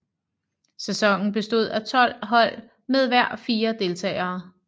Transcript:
Sæsonen bestod af 12 hold med hver fire deltagere